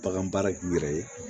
Bagan baara k'u yɛrɛ ye